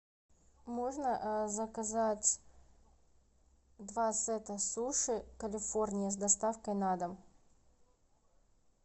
можно заказать два сета суши калифорния с доставкой на дом